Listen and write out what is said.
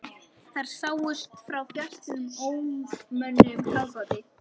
Þær sáust frá fjarstýrðum ómönnuðum kafbáti.